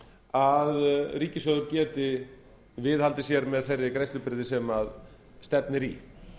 að ríkissjóður geti viðhaldið sér með þeirri greiðslubyrði sem stefnir í